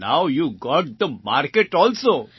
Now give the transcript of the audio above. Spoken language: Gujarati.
so now you got the market also